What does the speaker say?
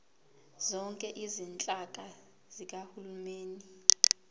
zonke izinhlaka zikahulumeni